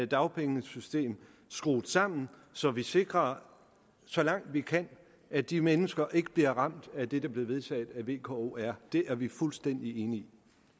dagpengesystem skruet sammen så vi sikrer så langt vi kan at de mennesker ikke bliver ramt af det der blev vedtaget af v k o og r det er vi fuldstændig enige